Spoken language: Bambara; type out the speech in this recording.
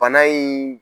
Bana in